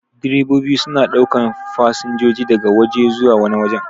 Direbobi suna ɗaukan fasinjoji daga waje zuwa wani wajen.